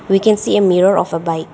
We can see a mirror of a bike.